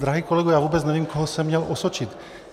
Drahý kolego, já vůbec nevím, koho jsem měl osočit.